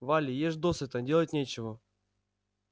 вали ешь досыта делать нечего